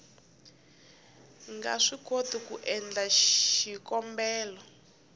nga swikoti ku endla xikombelo